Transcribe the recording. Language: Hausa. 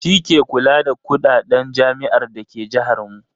Shi ke kula da kuɗaɗen jami'ar da ke jahar mu.